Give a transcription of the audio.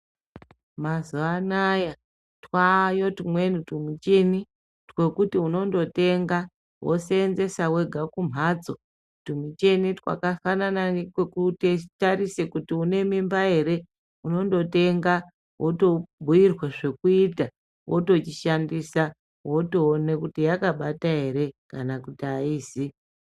Mazuva anaya twayo tumweni tumucheni twekuti unondotenga vosenzesa vega kumhatso. Tumucheni twakafanana netwekutarisa kuti une mimba ere. Unondotenga votobhuirwa zvekuita votochishandisa votoone kuti yakabata ere kana kuti haizi.